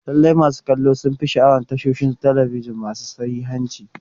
Lallai, masu kallo sun fi sha'awar tashoshin talabijin masu sahihanci.